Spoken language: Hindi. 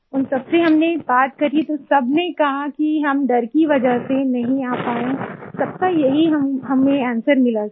उन सबसे हमने बात करी तो सब ने कहा कि हम डर की वजह से नहीं आ पाए सबका यही हमें अंस्वेर मिला सर